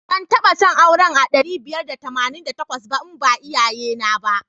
Ban taba son auren a ɗari biyar da tamanin da takwas ba in ba iyayena ba.